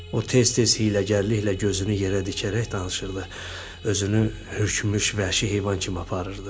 O tez-tez hiyləgərliklə gözünü yerə dikərək danışırdı, özünü hökmüş vəhşi heyvan kimi aparırdı.